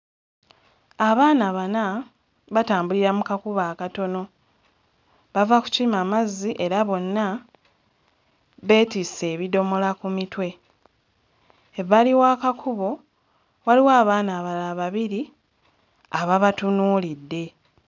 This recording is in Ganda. Abaana bana batambulira mu kakubo akatono. Bava kukima mazzi era bonna beetisse ebidomola ku mitwe. Ebbali w'akakubo waliwo abaana abalala babiri ababatunuulidde.